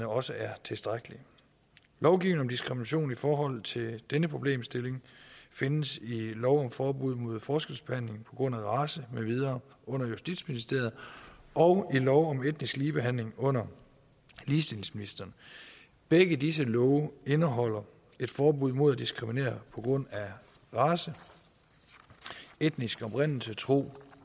også er tilstrækkelige lovgivning om diskrimination i forhold til denne problemstilling findes i lov om forbud mod forskelsbehandling på grund af race med videre under justitsministeren og i lov om etnisk ligebehandling under ligestillingsministeren begge disse love indeholder et forbud mod at diskriminere på grund af race etnisk oprindelse tro